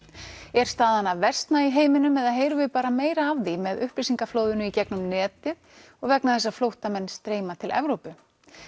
er staðan að versna í heiminum eða heyrum við bara meira af því með upplýsingaflóðinu í gegnum netið og vegna þess að flóttamenn streyma til Evrópu